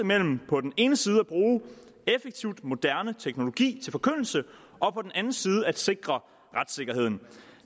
mellem på den ene side brug af effektiv moderne teknologi til forkyndelse og på den anden side sikring af retssikkerheden